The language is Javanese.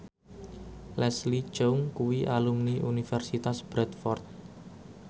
Leslie Cheung kuwi alumni Universitas Bradford